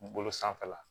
Bolo sanfɛla